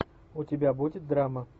у тебя будет драма